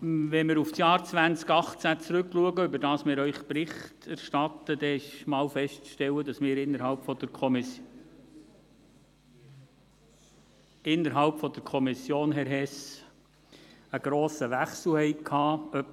Wenn wir auf das Jahr 2018 zurück- blicken, über welches wir Ihnen Bericht erstatten, ist zuerst einmal festzustellen, dass ....)... wir innerhalb der Kommission, Herr Hess, einen grossen Wechsel hatten.